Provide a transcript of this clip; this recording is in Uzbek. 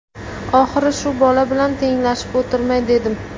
Oxiri shu bola bilan tenglashib o‘tirmay dedim.